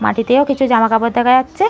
মাটিতেও কিছু জামাকাপড় দেখা যাচ্ছে।